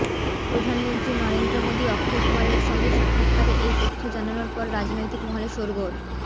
প্রধানমন্ত্রী নরেন্দ্র মোদী অক্ষয়কুমারের সঙ্গে সাক্ষাৎকারে এই তথ্য জানানোর পর রাজনৈতিক মহলে শোরগোল